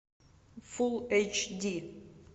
фул эйч ди